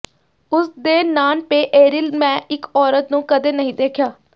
ਉਸ ਦੇ ਨਾਨਪੇਅਰਿਲ ਮੈਂ ਇਕ ਔਰਤ ਨੂੰ ਕਦੇ ਨਹੀਂ ਦੇਖਿਆ